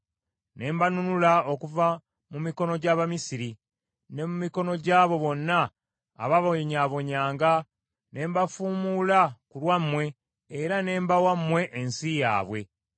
ne mbanunula okuva mu mikono gy’Abamisiri, ne mu mikono gy’abo bonna abababonnyabonnyanga ne mbafuumuula ku lwammwe era ne mbawa mmwe ensi yaabwe;